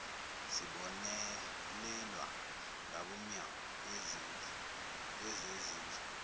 sibonelelwa ngabomnyango yezezindlu